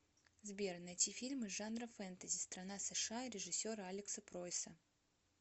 сбер найти фильм из жанра фэнтэзи страна сша режиссера алекса пройса